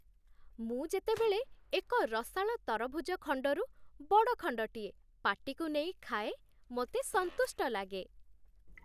ମୁଁ ଯେତେବେଳେ ଏକ ରସାଳ ତରଭୁଜ ଖଣ୍ଡରୁ ବଡ଼ ଖଣ୍ଡଟିଏ ପାଟିକୁ ନେଇ ଖାଏ, ମୋତେ ସନ୍ତୁଷ୍ଟ ଲାଗେ।